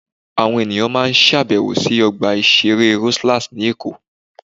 Àwọn ènìyàn máa ń ṣàbẹ̀wò sí Ọgbà Ìṣeré Rosellas ní Èkó.